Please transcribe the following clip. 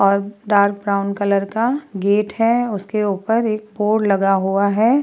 अब dark brown colour का gate है। उसके ऊपर एक बोर्ड लगा है।